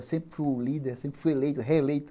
Eu sempre fui o líder, sempre fui eleito, reeleito.